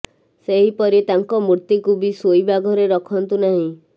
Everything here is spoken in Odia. ସେହିପରି ତାଙ୍କ ମୂର୍ତ୍ତିକୁ ବି ଶୋଇବା ଘରେ ରଖନ୍ତୁ ନାହିଁ